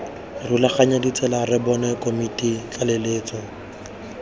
rulaganya ditsela rbbon komiti tlaleletso